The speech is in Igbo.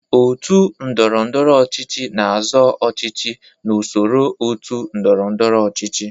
Otu ndọrọndọrọ ọchịchị na-azọ ọchịchị n'usoro otu ndọrọ ndọrọ ọchịchị.